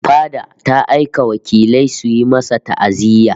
Fada ta aika wakilai suyi masa ta'aziyya